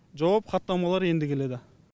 жауап хаттамалар енді келеді